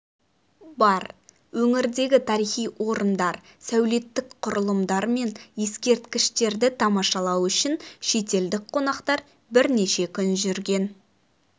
бар өңірдегі тарихи орындар сәулеттік құрылымдар мен ескерткіштерді тамашалау үшін шетелдік қонақтар бірнеше күн жүрген